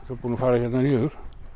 búinn að fara hérna niður